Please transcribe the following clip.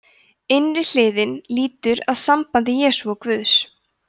innri hliðin lýtur að sambandi jesú og guðs